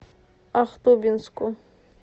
ахтубинску